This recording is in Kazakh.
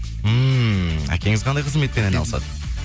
ммм әкеңіз қандай қызметпен айналысады